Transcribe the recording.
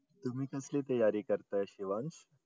तुम्ही कसली तयारी करताय शिवांश?